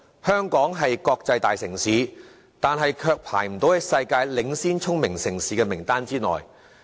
香港雖是國際大城市，但卻未能躋身世界領先聰明城市名單內。